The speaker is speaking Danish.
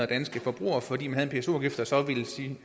danske forbrugere fordi man havde en pso afgift der så ville stige